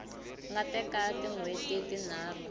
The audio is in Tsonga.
nga teka tin hweti tinharhu